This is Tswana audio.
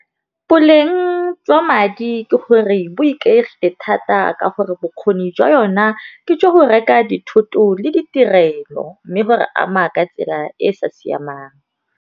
Boleng jwa madi ke gore bo thata ka gore bokgoni jwa yona ke tsa go reka dithoto le ditirelo, mme go re ama ka tsela e e sa siamang.